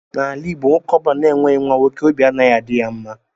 N'ala igbo nwoke ọbula na-enweghi nwa nwoke óbị anaghị adị ya mma.